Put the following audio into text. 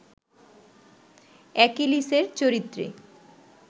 অ্যাকিলিসের চরিত্রে